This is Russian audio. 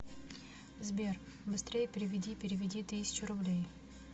сбер быстрее переведи переведи тысячу рублей